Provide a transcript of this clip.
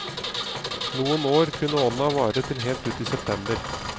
Noen år kunne onna vare til helt ut i september.